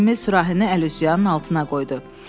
Emil sürahini əlüzyanın altına qoydu.